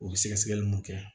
U bɛ sɛgɛsɛgɛli mun kɛ